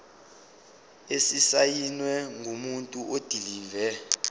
esisayinwe ngumuntu odilive